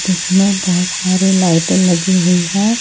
जिसमें बहुत सारी लाइटिंग लगी हुई है।